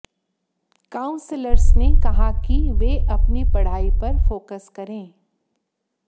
counsellors ने कहा कि वे अपनी पढ़ाई पर फोकस करें